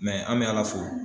an mɛ Ala fo.